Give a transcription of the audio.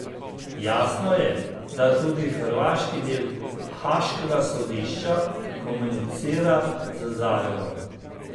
Jasno je, da tudi hrvaški del haaškega sodišča komunicira z Zagrebom.